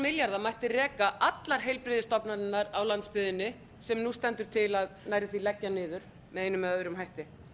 milljarða mætti reka allar heilbrigðisstofnanirnar á landsbyggðinni sem nú stendur til að nærri því leggja niður með einum eða öðrum hætti